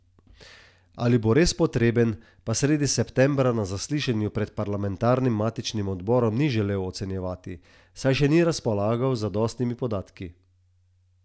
Ali bo res potreben, pa sredi septembra na zaslišanju pred parlamentarnim matičnim odborom ni želel ocenjevati, saj še ni razpolagal z zadostnimi podatki.